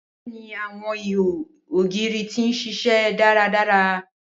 Bẹẹni, awọn iho ogiri ti n ṣiṣẹ daradara.